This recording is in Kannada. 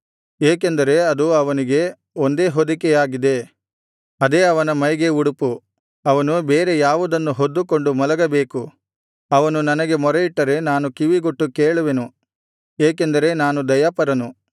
ಏಕೆಂದರೆ ಅದು ಅವನಿಗೆ ಒಂದೇ ಹೊದಿಕೆಯಾಗಿದೆ ಅದೇ ಅವನ ಮೈಗೆ ಉಡುಪು ಅವನು ಬೇರೆ ಯಾವುದನ್ನು ಹೊದ್ದುಕೊಂಡು ಮಲಗಬೇಕು ಅವನು ನನಗೆ ಮೊರೆಯಿಟ್ಟರೆ ನಾನು ಕಿವಿಗೊಟ್ಟು ಕೇಳುವೆನು ಏಕೆಂದರೆ ನಾನು ದಯಾಪರನು